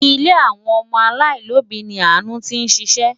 Ilé àwọn ọmọ aláìlóbìí ni Àánú tí ń ṣiṣẹ́.